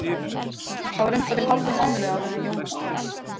Það var um það bil hálfum mánuði áður en Jónas dó.